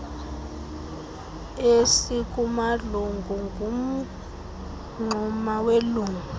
esikumalungu ngumngxuma welungu